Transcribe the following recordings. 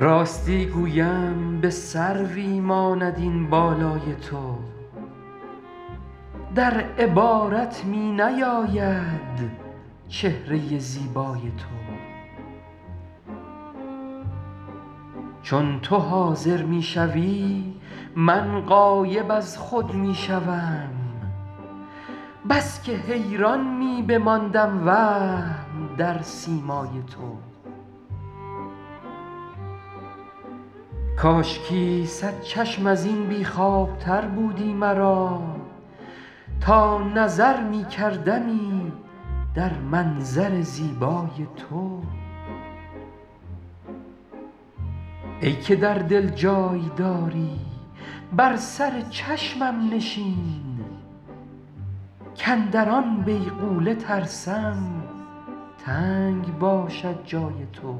راستی گویم به سروی ماند این بالای تو در عبارت می نیاید چهره زیبای تو چون تو حاضر می شوی من غایب از خود می شوم بس که حیران می بماندم وهم در سیمای تو کاشکی صد چشم از این بی خوابتر بودی مرا تا نظر می کردمی در منظر زیبای تو ای که در دل جای داری بر سر چشمم نشین کاندر آن بیغوله ترسم تنگ باشد جای تو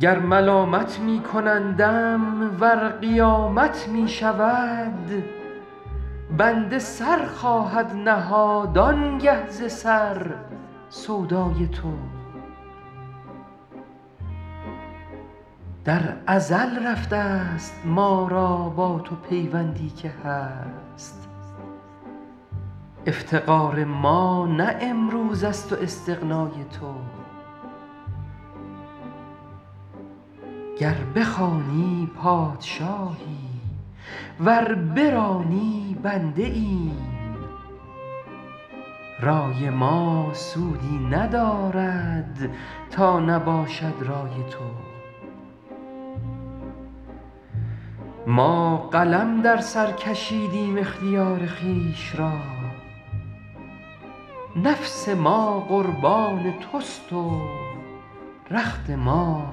گر ملامت می کنندم ور قیامت می شود بنده سر خواهد نهاد آن گه ز سر سودای تو در ازل رفته ست ما را با تو پیوندی که هست افتقار ما نه امروز است و استغنای تو گر بخوانی پادشاهی ور برانی بنده ایم رای ما سودی ندارد تا نباشد رای تو ما قلم در سر کشیدیم اختیار خویش را نفس ما قربان توست و رخت ما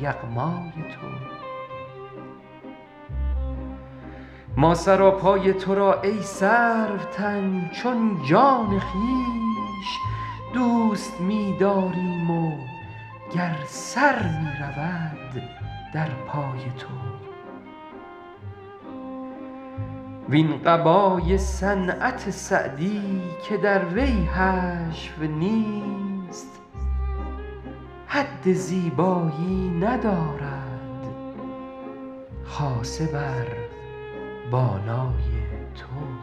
یغمای تو ما سراپای تو را ای سروتن چون جان خویش دوست می داریم و گر سر می رود در پای تو وین قبای صنعت سعدی که در وی حشو نیست حد زیبایی ندارد خاصه بر بالای تو